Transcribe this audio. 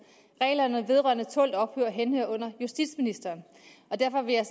reglerne vedrørende tålt ophold henhører under justitsministeren og derfor vil jeg